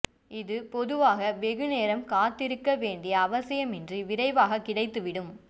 இது பொதுவாக வெகு நேரம் காத்திருக்க வேண்டிய அவசியமின்றி விரைவாகக் கிடைத்துவிடும்